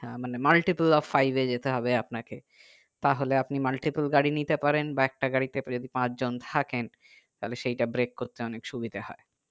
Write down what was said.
আহ মানে multiple of five এ যেতে হবে আপনাকে তাহলে আপনি multiple গাড়ি নিতে পারেন বা একটা গাড়িতে যদি পাঁচ জন থাকে তাহলে সেটা break করতে অনেক সুবিধা হয়